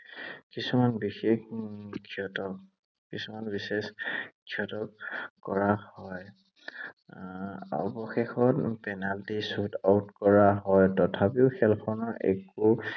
কিছুমান বিশেষ উম ক্ষেত্ৰত, কিছুমান বিশেষ ক্ষেত্ৰত কৰা হয়। অৱশেষত পেনালটি shoot out কৰা হয়। তথাপিও খেলখনৰ একো